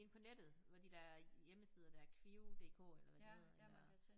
På nettet hvor de der hjemmesider der kvio-DK eller hvad de hedder eller